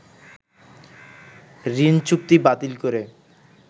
ঋণচুক্তি বাতিল করে